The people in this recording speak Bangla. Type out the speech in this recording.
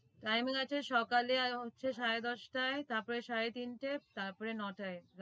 timeing আছে সকালে সাড়ে দশটায় তারপরে সাড়ে তিনটে তারপরে নয়টায়।